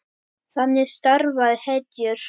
Þannig starfa hetjur!